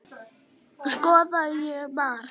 Skoraði ég mark?